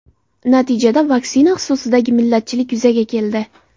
Natijada vaksina xususidagi millatchilik yuzaga keldi.